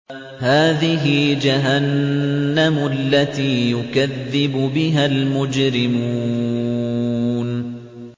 هَٰذِهِ جَهَنَّمُ الَّتِي يُكَذِّبُ بِهَا الْمُجْرِمُونَ